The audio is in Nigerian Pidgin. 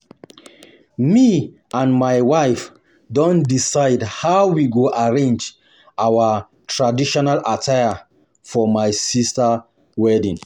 me and my wife don decide how we go arrange our our traditional attire for my sister wedding